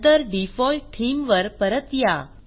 नंतर default theme वर परत या